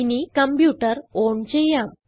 ഇനി computer on ചെയ്യാം